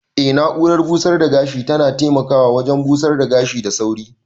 Eh na'urar busar da gashi tana taimakawa wajen busar da gashina da sauri.